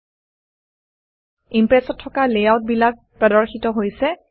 Impress Impress ত থকা লেআউটবিলাক প্ৰদৰ্শিত হৈছে